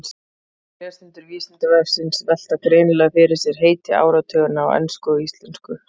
Margir lesendur Vísindavefsins velta greinilega fyrir sér heiti áratuganna á ensku og íslensku.